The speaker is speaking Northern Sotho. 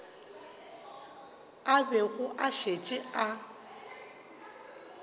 a bego a šetše a